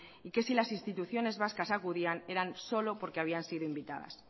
y que si las instituciones vascas acudían era solo porque habían sido invitadas